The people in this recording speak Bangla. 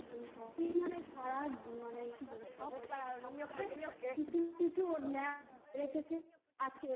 shopping মানে সারা সপ্তাহে মানে কিছু কিছু ওর রেখেছে আজকে এটা